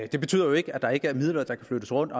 det betyder jo ikke at der ikke er midler der kan flyttes rundt